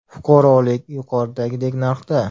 Fuqarolik yuqoridagidek narxda.